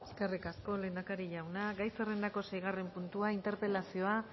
eskerrik asko lehendakari jauna gai zerrendako seigarren puntua interpelazioa